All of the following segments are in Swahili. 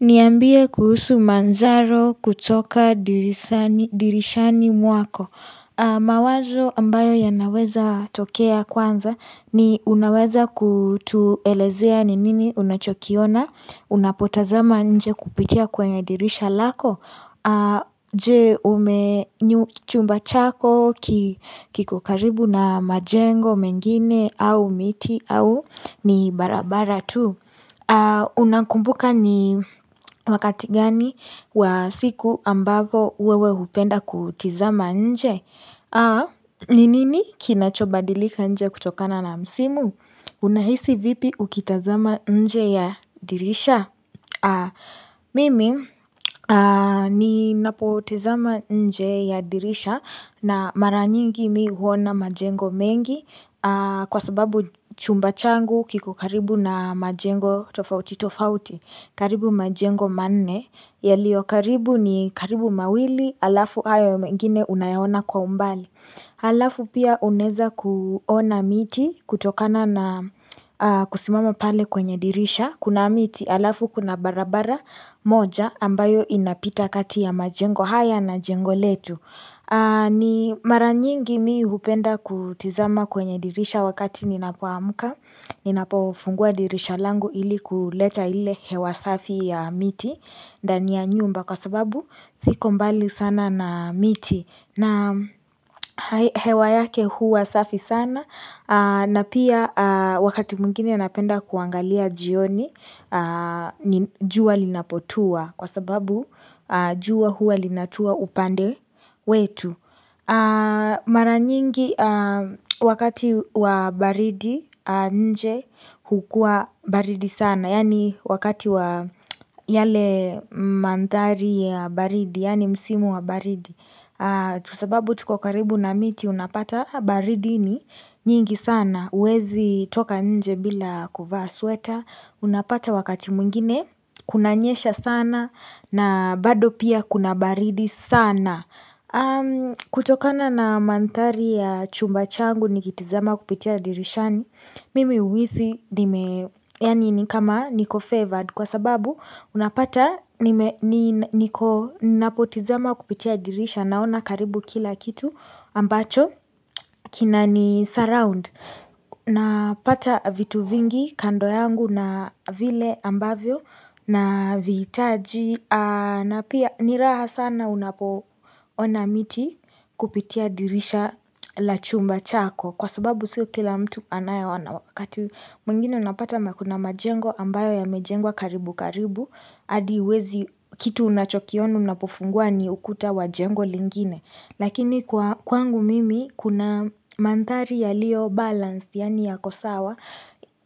Niambie kuhusu manzaro kutoka dirishani mwako. Mawazo ambayo yanaweza tokea kwanza ni unaweza kutuelezea ni nini unachokiona, unapotazama nje kupitia kwenye dirisha lako, je ume chumba chako kiko karibu na majengo mengine au miti au ni barabara tu. Unakumbuka ni wakati gani wa siku ambapo wewe hupenda kutizama nje ni nini kinachobadilika nje kutokana na msimu Unahisi vipi ukitazama nje ya dirisha Mimi ninapotazama nje ya dirisha na mara nyingi mimi huona majengo mengi Kwa sababu chumba changu kiko karibu na majengo tofauti tofauti karibu majengo manne yaliyo karibu ni karibu mawili Alafu haya ya mengine unayaona kwa umbali Alafu pia unaweza kuona miti kutokana na kusimama pale kwenye dirisha Kuna miti alafu kuna barabara moja ambayo inapita kati ya majengo haya na jengo letu ni mara nyingi mimi hupenda kutazama kwenye dirisha wakati ninapoamka Ninapofungua dirisha langu ili kuleta ile hewa safi ya miti ndani ya nyumba kwa sababu siko mbali sana na miti na hewa yake huwa safi sana na pia wakati mwingine napenda kuangalia jioni jua linapotua kwa sababu jua huwa linatua upande wetu Mara nyingi wakati wa baridi nje hukuwa baridi sana Yaani wakati wa yale mandhari ya baridi Yaani msimu wa baridi Kwa sababu tuko karibu na miti unapata baridi ni nyingi sana huwezi toka nje bila kuvaa sweta Unapata wakati mwingine kunanyesha sana na bado pia kuna baridi sana kutokana na manthari ya chumba changu nikitizama kupitia dirishani Mimi huhisi, yaani ni kama niko favored Kwa sababu, unapata niko napotazama kupitia dirisha Naona karibu kila kitu ambacho kina ni surround Napata vitu vingi kando yangu na vile ambavyo Navihitaji na pia ni raha sana unapoona miti kupitia dirisha la chumba chako Kwa sababu sio kila mtu anayeona wakati mwingine unapata na kuna majengo ambayo yamejengwa karibu karibu hadi huwezi kitu unachokiona unapofungua ni ukuta wa jengo lingine Lakini kwangu mimi kuna manthari yaliyo balance yaani yakosawa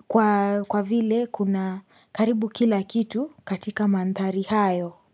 kwa vile kuna karibu kila kitu katika manthari hayo.